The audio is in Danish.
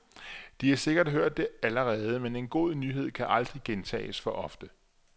De har sikkert hørt det allerede, men en god nyhed kan aldrig gentages for ofte.